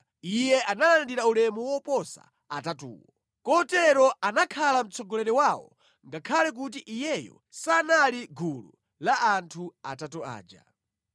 Iye analandira ulemu woposa atatuwo. Kotero anakhala mtsogoleri wawo ngakhale kuti iyeyo sanali mʼgulu la anthu atatu aja.